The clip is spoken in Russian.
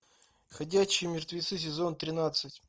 ходячие мертвецы сезон тринадцать